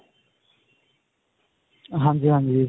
ਹਾਂਜੀ ਹਾਂਜੀ.